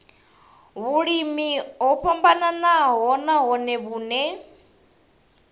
vhulimi o vhofhanaho nahone vhune